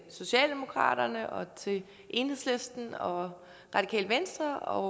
socialdemokratiet og til enhedslisten og radikale venstre og